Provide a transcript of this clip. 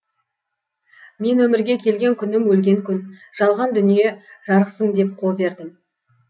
мен өмірге келген күнім өлген күн жалған дүние жарықсың деп қол бердім